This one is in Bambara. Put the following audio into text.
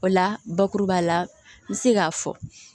O la bakuruba la n bɛ se k'a fɔ